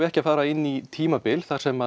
ekki að fara inn í tímabil þar sem